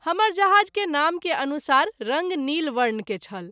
हमर जहाज़ के नाम के अनुसार रंग नील वर्ण के छल।